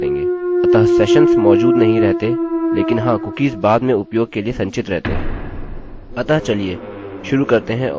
अतः सेशन्स मौजूद नहीं रहते लेकिन हाँ कुकीज़ बाद में उपयोग के लिए संचित रहते हैं